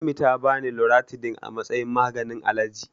Ummi ta bani Loratidin a matsayin maganin alaji.